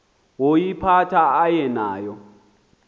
woyiphatha aye nayo